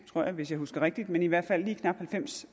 tror jeg hvis jeg husker rigtigt i hvert fald lige knap halvfems